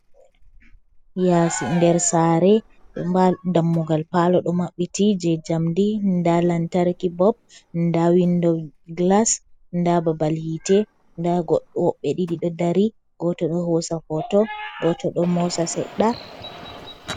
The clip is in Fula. Yasi nder sare, dammugal palo do maɓɓiti je jamdi, nda lantarki bulb, nda window glass, nda babal hite, nda woɓɓe ɗii ɗo dari goto do hosa hoto, goto ɗo mosa seɗɗa.